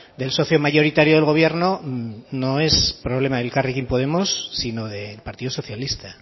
del socio mayoritario del gobierno no es problema del elkarrekin podemos sino del partido socialista